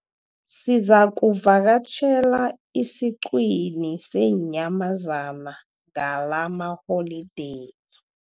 Sizakuvakatjhela esiqhiwini seenyamazana ngalamaholideyi.